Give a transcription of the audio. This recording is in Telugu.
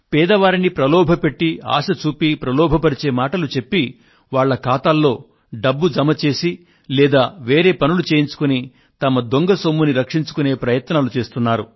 పేదవారిని ప్రలోభపెట్టి ఆశచూపి ప్రలోభపరిచే మాటలు చెప్పి వాళ్ళ ఖాతాల్లో డబ్బు జమ చేసి లేదా వేరే పనులు చేయించుకొని తమ దొంగ సొమ్మును రక్షించుకొనే ప్రయత్నాలు చేస్తున్నారు